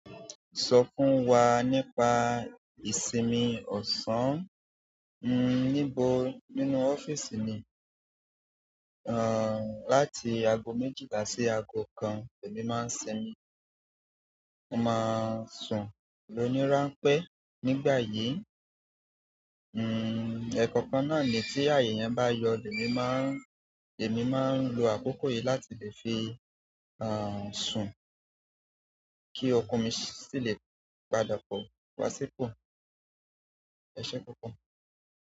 Sọ fún wa nípa ìsinmi ọ̀sán? Níbo nínú ọ́fíìsì mi, láti ago méjìlá sí ago kan lèmi máa ń sinmi. Mo máa sùn lónì ràńpẹ́ nígbà yìí. Ẹ̀kankan náà ni tí àyè yẹn bá yọ lèmi máa ń, lèmi máa ń lo àkókò yìí láti lè fi sùn kí okun mi sì lè padà pọ̀ wá sípò. Ẹ̀ṣẹ́ púpọ̀.